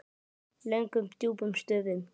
Löngum djúpum stöfum.